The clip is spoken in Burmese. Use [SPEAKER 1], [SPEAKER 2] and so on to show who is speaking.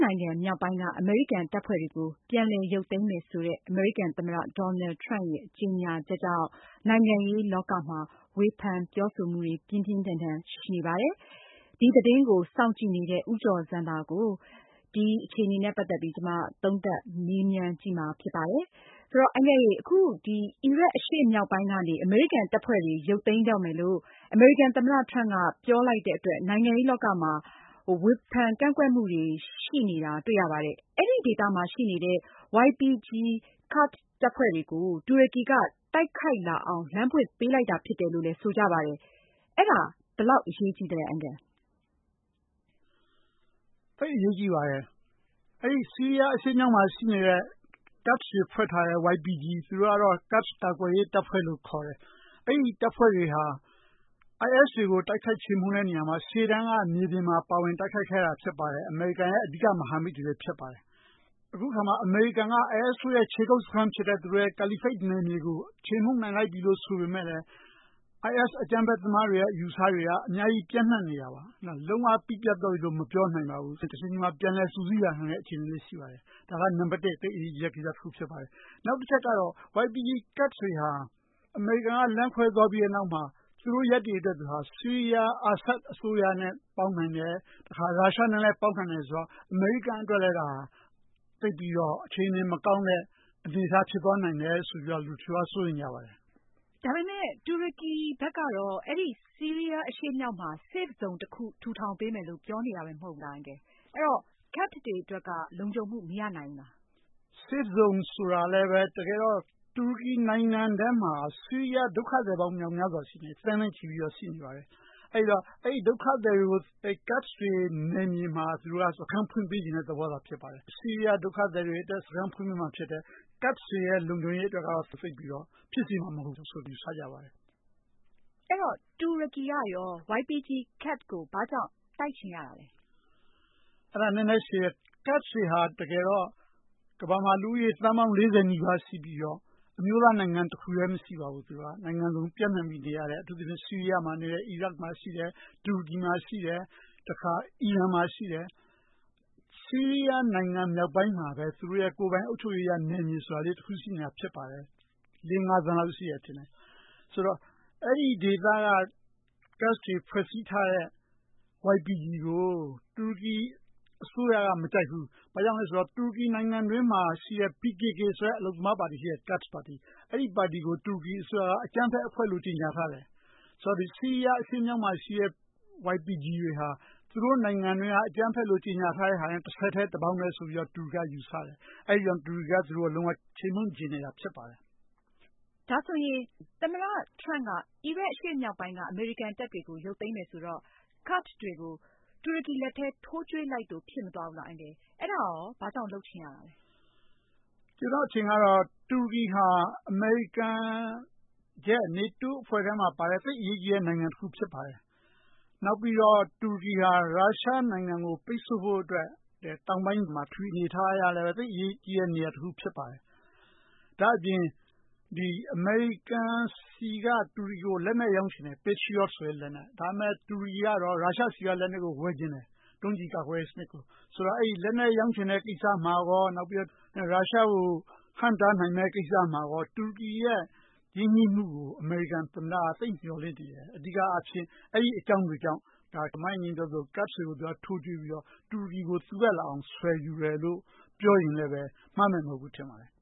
[SPEAKER 1] နိုင်ငံ မြောက်ပိုင်းက အမေရိကန် တပ်ဖွဲ့တွေကို ပြန်လည် ရုပ်သိမ်းဖို့ အမေရိကန် သမ္မတ Donald Trump ရဲ့ ကြေညာချက်ကြောင့် နိုင်ငံရေးလောကမှာ ဝေဖန်မှုတွေ ပြင်းပြင်းထန်ထန်ရှိနေပါတယ်။ ဒီသတင်းကို စောင့်ကြည့်နေတဲ့ ဦးကျော်ဇံသာကို ဒီအခြေအနေနဲ့ ပတ်သက်ပြီး မအင်ကြင်းနိုင်ငံ သုံးသပ်မေးမြန်းထားပါတယ်။
[SPEAKER 2] အီရတ်အရှေ့မြောက်ပိုင်းကနေ အမေရိကန်တပ်ဖွဲ့တွေ ရုပ်သိမ်းတော့မယ်လို့ အမေရိကန် သမ္မတ ထရမ့်က ပြောလိုက်တဲ့အတွက် နိုင်ငံရေးလောကမှာ ဝေဖန်ကန့်ကွက်မှုတွေ ရှိနေပါတယ်။ အဲဒီဒေသမှာ ရှိနေတဲ့ YPG ကာ့ဒ်တပ်ဖွဲ့တွေကို တူရကီ က တိုက်ခိုက်လာအောင် လမ်းဖွင့်ပေးလိုက်တာ ဖြစ်တယ်လို့ ဆိုကြပါတယ်။ အဲဒါ ဘယ်လောက်အရေးကြီးသလဲ။
[SPEAKER 3] သိပ်အရေးကြီးပါတယ်။ ဆီးရီးယားမြောက်ပိုင်းမှာရှိတဲ့ ကာ့ဒ်ကာကွယ်ရေးတပ်ဖွဲ့ YPG တပ်ဖွဲ့တွေဟာ IS တွေကို တိုက်ခိုက်ချေမှုန်းတဲ့နေရာမှာ အရှေ့တန်းက မြေပြင်မှာ ပါဝင်တိုက်ခိုက်ခဲ့တာဖြစ်ပါတယ်။ အမေရိကန်ရဲ့ အဓိက မဟာမိတ်တွေလည်း ဖြစ်ပါတယ်။ အခုအခါမှာ အမေရိကန်က IS တို့ရဲ့ ခြေကုတ်စခန်းဖြစ်တဲ့ ကာလီဖိတ်နယ်မြေကို ခြေမှုန်းနိုင်လိုက်ပြီဆိုပေမယ့် IS အကြမ်းဖက်သမားတွေရဲ့ အယူအဆတွေက အများကြီး ပျံ့နှံ့နေတာပါ။ လုံး၀ ပြီးပျက်သွားပြီလို့ မပြောနိုင်ပါဘူး တချိန်ချိန်မှာ ပြန်လည် စုစည်းလာနိုင်တဲ့အခြေအနေလည်းရှိပါတယ်။ ဒါက နံပတ် ၁ သိပ်အရေးကြီးတဲ့ ကိစ္စပါ။ နောက်တချက်ကတော့ YPG ကာ့ဒ်တွေဟာ အမေရိကန်က လမ်းခွဲသွားပြီးတဲ့နောက်မှာ သူတို့ ရပ်တည်ချက်တွေဟာ ဆီးရီးယား အာဆက် အစိုးရနဲ့ ပေါင်းနိုင်တယ် တခါ ရုရှားနဲ့လည်း ပေါင်းနိုင်တယ်ဆိုတော့ အမေရိကန်အတွက်လည်း ဒါဟာ အခြေအနေမကောင်းနိုင်တဲ့ အနေအထားဖြစ်သွားနိုင်တယ်ဆိုပြီးတော့ လူတချို့က စိုးရိမ်ကြပါတယ်။
[SPEAKER 2] ဒါပေမဲ့ တူရကီကတော့ အဲဒီ ဆီးရီးယား အရှေ့မြောက်မှာ safe zone တခု ထူထောင်ပေးမယ်လို့ ပြောနေတာပဲ မဟုတ်လား။ ကာ့ဒ်တွေအတွက် လုံခြုံမှု မရနိုင်ဘူးလား။
[SPEAKER 3] safe zone ဆိုတာလည်း တကယ်တော့ တူရကီနိုင်ငံထဲမှာ ဆီးရီးယား ဒုက္ခသည်ပေါင်း များစွာ သန်းနဲ့ချီပြီးတော့ ရှိနေပါတယ်။ အဲဒီတော့ အဲဒီ ဒုက္ခသည်တွေကို ကာ့ဒ်တွေ နယ်မြေမှာ သူတို့ စခန်းဖွင့်ပေးချင်တဲ့ သဘောဖြစ်ပါတယ်။ ဆီးရီးယား ဒုက္ခသည်တွေအတွက် စခန်းဖွင့်ပေးမှာဖြစ်တယ်။ ကာ့ဒ်တွေရဲ့ လုံခြုံရေးအတွက်ကတော့ ဖြစ်စေမှာမဟုတ်ဘူးဆိုတာ ယူဆရပါတယ်။
[SPEAKER 2] တူရကီကရော YPG ကာ့ဒ်ကို ဘာကြောင့် တိုက်ချင်ရတာလဲ။
[SPEAKER 3] ကာ့ဒ်တွေဟာ တကယ်တော့ လူဦးရေ သန်းပေါင်း ၄၀ နီးပါးရှိပြီးတော့ အမျိုးသားနိုင်ငံ တခုတည်းမရှိပါဘူး။ နိုင်ငံစုံမှာနေရတယ် အထူးသဖြင့် ဆီးရီးယားမှာ နေတယ်၊ အီရတ်မှာရှိတယ် တူရကီ၊ အီရန်မှာရှိတယ်။ ဆီးရီးယားနိုင်ငံ မြောက်ပိုင်းမှာပဲ သူတို့ရဲ့ ကိုယ်ပိုင်အုပ်ချုပ်ရေးရ နယ်မြေလေးတခုရှိနေတာဖြစ်ပါတယ်။ ၄ ၊ ၅ သန်းလောက်ရှိတယ်ထင်တယ် ဆိုတော့ အဲဒီဒေသက ကာ့ဒ်တွေဖွဲ့စည်းထားတဲ့ YPG ကို တူရကီ အစိုးရက မကြိုက်ဘူး။ ဘာကြောင့်လဲဆိုတော့ တူရကီ နိုင်ငံအတွင်းမှာရှိတဲ့ PKK ဆိုတဲ့ အလုပ်သမားပါတီရှိတယ်။ ကာ့ဒ်ပါတီ အဲဒီပါတီကို တူရကီ အစိုးရကအကြမ်းဖက်အဖွဲ့လို့ ကြေညာထားတယ် ဆိုတော့ ဆီးရီးယားအရှေ့မြောက်မှာရှိတဲ့ YPG တွေဟာ သူတို့နိုင်ငံအတွင်းက အကြမ်းဖက်လို့ ကြေညာထားတာနဲ့ တဆက်တည်း တပေါင်းတည်းဆိုပြီးတော့ တူရကီက ယူဆတယ်။ အဲဒါကြောင့် တူရကီက လုံးဝခြေမှုန်းချင်နေတာဖြစ်ပါတယ်။
[SPEAKER 2] သမ္မတ ဒေါ်နယ်လ်ထရမ့်က အီရတ်အရှေ့မြောက်ပိုင်းက အမေရိကန်တပ်တွေကို ရုပ်သိမ်းမယ်ဆိုတော့ ကာ့ဒ်တွေကို တူရကီလက်ထဲ ထိုးကြွေးလိုက်သလို ဖြစ်နေမှာပေါ့။ အဲဒါဘာကြောင့်လဲ။
[SPEAKER 3] ကျနော့်အထင်ကတော့ တူရကီဟာ အမေရိကန် နေတိုးအဖွဲ့ထဲမှာပါတဲ့ သိပ်အရေးကြီးတဲ့ နိုင်ငံတခုဖြစ်ပါတယ်။ နောက်ပြီးတော့ တူရကီဟာ ရုရှားနိုင်ငံကို ပိတ်ဆို့ဖို့အတွက် တောင်ပိုင်းမှာ ပထဝီအနေအထားအရလည်း သိပ်အရေးကြီးတဲ့ နေရာတခုဖြစ်ပါတယ်။ ဒါ့အပြင် အမေရိကန်က တူရကီကို လက်နက်ရောင်းချင်တယ် patriot ဆိုတဲ့လက်နက် ။ တူရကီကတော့ ရုရှားဆီက လက်နက်ကို ဝယ်ချင်တယ် ဒုံးကျည်ကာကွယ်ရေးစနစ်ကို ဆိုတော့ အဲဒီ လက်နက် ရောင်းချင်တဲ့ကိစ္စမှာရော ရုရှားကို ဟန့်တားနိုင်မယ့်ကိစ္စမှာရော တူရကီရဲ့ ရင်းနှီးမှုကို အမေရိကန်သမ္မတက သိပ်မျှော်လင့်နေတယ် ။ အဲဒီအကြောင်းတွေကြောင့် မအင်ကြင်းပြောသလို ကာ့ဒ်တွေကို ထိုးကြွေးပြီးတော့ တူရကီကို တက်လာအောင် ဆွယ်ယူတယ်လို့ ပြောရင်လည်း မှားမယ်မဟုတ်ဘူးထင်ပါတယ်